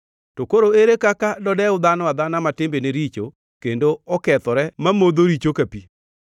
to koro ere kaka dodew dhano adhana ma timbene richo kendo okethore, mamodho richo ka pi!